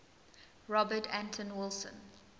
robert anton wilson